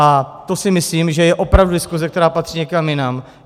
A to si myslím, že je opravdu diskuse, která patří někam jinam.